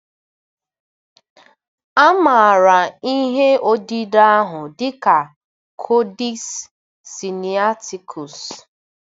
A maara ihe odide ahụ dị ka Kodex Sinaịtikus.